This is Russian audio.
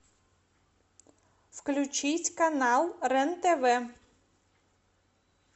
включить канал рен тв